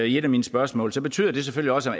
et af mine spørgsmål betyder det selvfølgelig også at